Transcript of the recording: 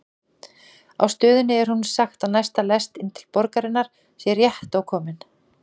Á stöðinni er honum sagt að næsta lest inn til borgarinnar sé rétt ókomin.